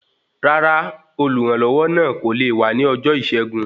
Rárá, oluranlowo náà kò lé wá ní ọjọ Isẹgun